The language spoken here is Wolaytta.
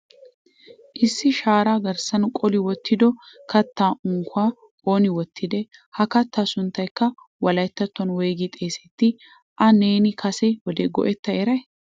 Issi sharaa garssan qolli wottido kattaa unkuwaa ooni wottide? Ha katta sunttaykka wolayttattuwan woyggi xeesseti? A neeni kase wode go"etta eray?